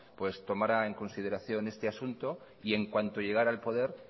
tomará en consideración este asunto y en cuanto llegará al poder